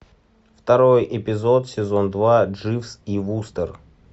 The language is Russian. второй эпизод сезон два дживс и вустер